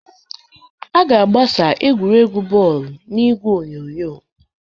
A ga-agbasa egwuregwu bọọlụ n'igwe onyonyo.